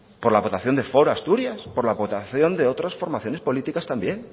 por la aportación de foro asturias por la aportación de otras formaciones políticas también